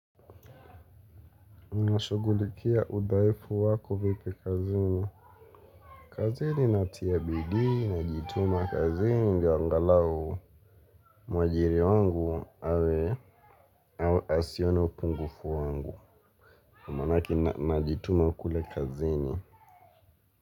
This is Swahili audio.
Unashughulikia udhaifu wako vipi kazini. Kazini natia bidii, najituma kazini ndio angalau mwajiri wangu awe asiona upungufu wangu. Ko manake najituma kule kazini.